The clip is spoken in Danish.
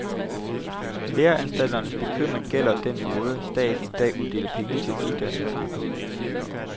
Læreanstalternes bekymring gælder den måde, staten i dag uddeler penge til uddannelserne på.